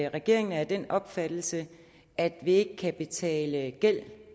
regeringen er af den opfattelse at vi ikke kan betale gæld